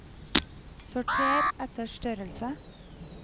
sorter etter størrelse